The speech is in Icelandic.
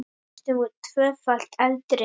Næstum tvöfalt eldri.